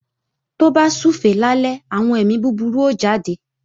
Tó bá súfèé lálẹ́, àwọn èmi búburú ó jáde